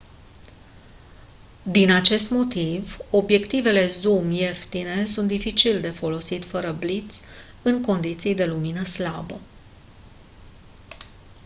din acest motiv obiectivele zoom ieftine sunt dificil de folosit fără bliț în condiții de lumină slabă